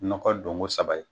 Nɔgɔ don ko saba ye